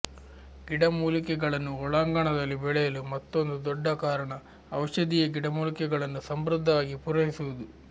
ಗಿಡಮೂಲಿಕೆಗಳನ್ನು ಒಳಾಂಗಣದಲ್ಲಿ ಬೆಳೆಯಲು ಮತ್ತೊಂದು ದೊಡ್ಡ ಕಾರಣ ಔಷಧೀಯ ಗಿಡಮೂಲಿಕೆಗಳನ್ನು ಸಮೃದ್ಧವಾಗಿ ಪೂರೈಸುವುದು